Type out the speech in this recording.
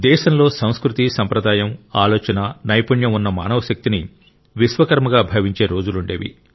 దేశంలో సంస్కృతి సంప్రదాయం ఆలోచన నైపుణ్యం ఉన్న మానవశక్తిని విశ్వకర్మగా భావించే రోజులుండేవి